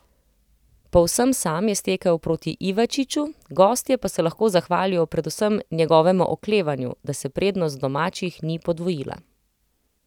Povsem sam je stekel proti Ivačiču, gostje pa se lahko zahvalijo predvsem njegovemu oklevanju, da se prednost domačih ni podvojila.